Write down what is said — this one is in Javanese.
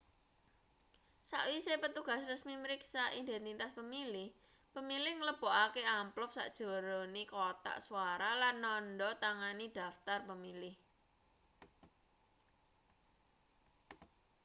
sakwise petugas resmi mriksa identitas pemilih pemilih nglebokake amplop sajerone kothak swara lan nandha tangani daftar pemilih